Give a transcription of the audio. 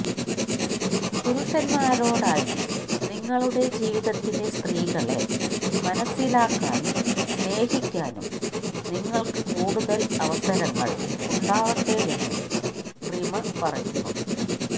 പുരുഷന്മാരോടായി നിങ്ങളുടെ ജീവിതത്തിലെ സ്ത്രീകളെ മനസിലാക്കാനും സ്നേഹിക്കാനും നിങ്ങള്ക്ക് കൂടുതല് അവസരങ്ങള് ഉണ്ടാവട്ടെയെന്നും റിമ പറയുന്നു